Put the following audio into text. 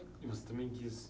E você também quis?